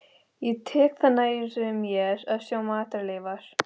Ég tek það alltaf nærri mér að sjá matarleifar.